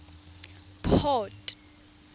port